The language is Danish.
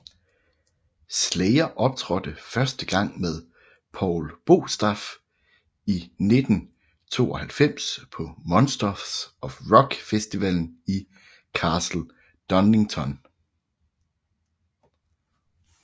Slayer optrådte første gang med Paul Bostaph i 1992 på Monsters of Rock festivalen i Castle Donington